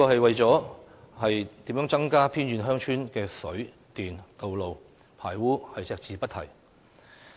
為何施政報告對增加偏遠鄉村的水、電、道路及排污設施隻字不提？